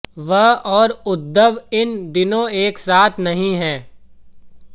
वह और उद्धव इन दिनों एक साथ नहीं हैं